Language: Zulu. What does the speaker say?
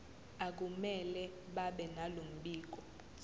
akumele babenalo mbiko